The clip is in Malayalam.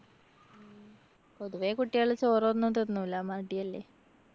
പൊതുവെ കുട്ടികള് ചോറൊന്നും തിന്നൂല. മടിയല്ലേ?